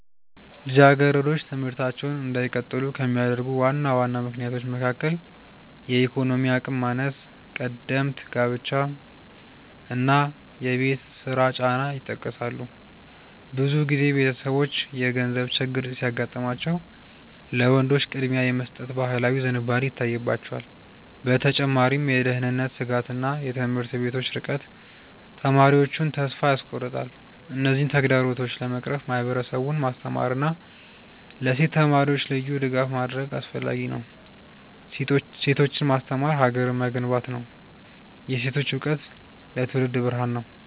ልጃገረዶች ትምህርታቸውን እንዳይቀጥሉ ከሚያደርጉ ዋና ዋና ምክንያቶች መካከል የኢኮኖሚ አቅም ማነስ፣ ቀደምት ጋብቻ እና የቤት ውስጥ ስራ ጫና ይጠቀሳሉ። ብዙ ጊዜ ቤተሰቦች የገንዘብ ችግር ሲያጋጥማቸው ለወንዶች ቅድሚያ የመስጠት ባህላዊ ዝንባሌ ይታይባቸዋል። በተጨማሪም የደህንነት ስጋትና የትምህርት ቤቶች ርቀት ተማሪዎቹን ተስፋ ያስቆርጣል። እነዚህን ተግዳሮቶች ለመቅረፍ ማህበረሰቡን ማስተማርና ለሴት ተማሪዎች ልዩ ድጋፍ ማድረግ አስፈላጊ ነው። ሴቶችን ማስተማር ሀገርን መገንባት ነው። የሴቶች እውቀት ለትውልድ ብርሃን ነው።